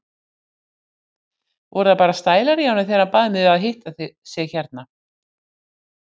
Voru það bara stælar í honum þegar hann bað mig að hitta sig hérna?